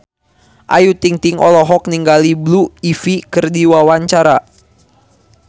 Ayu Ting-ting olohok ningali Blue Ivy keur diwawancara